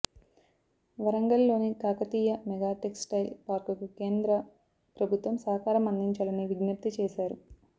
వరంగల్ లోని Kakatiya mega textile పార్కుకు కేంద్ర ప్రభుత్వం సహకారం అందించాలని విజ్ఞప్తి చేశారు